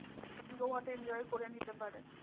গোয়াতে enjoy করে নিতে পারে।